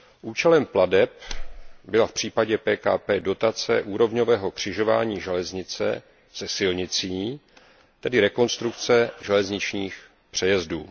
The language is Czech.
Účelem plateb byla v případě PKP dotace úrovňového křižování železnice se silnicí, tedy rekonstrukce železničních přejezdů.